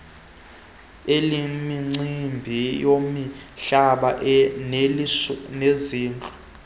elemicimbi yemihlaba nelezindlu